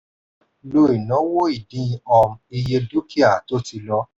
lo ìnáwó ìdín um iye dúkìá tó ti lọ.